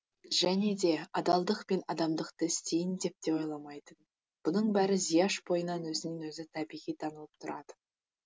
және де адалдық пен адамдықты істейін деп те ойламайтын бұның бәрі зияш бойынан өзінен өзі табиғи танылып тұратын